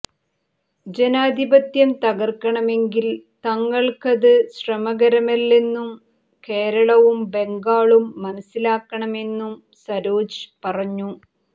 ജനാധിപത്യം തകർക്കണമെങ്കിൽ തങ്ങൾക്ക് ്ത് ശ്രമകരമല്ലെന്നും കേരളവും ബംഗാളും മനസ്സിലാക്കണമെന്നും സരോജ് പറഞ്ഞു